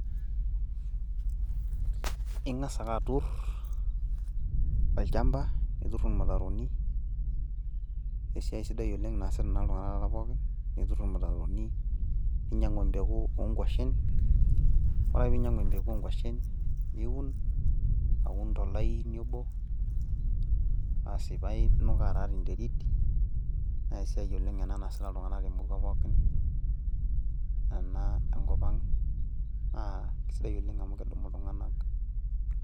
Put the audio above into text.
ingas ake atur tolchampa, nitur irmutaroni, naa esiai sidai naasita taata iltunganak pookin. nitur irmutaroni, ninyiang'u empeku oonkwashen, ore ake pee einyiang'u empeku oonkwashen, niun, aun tolaini obo, asi ,paa inukaa taa tenterit, naa esiai ena naasita iltunganak temurua pookin, naa kisidai oleng amu kedumu iltunganak.